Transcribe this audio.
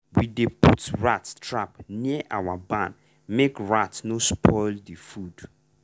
we dey put rat trap near our barn make rat no spoil the food.